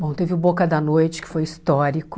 Bom, teve o Boca da Noite, que foi histórico.